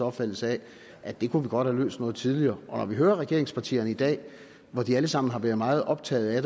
opfattelse af at det kunne vi godt have løst noget tidligere når vi hører regeringspartierne i dag hvor de alle sammen har været meget optaget af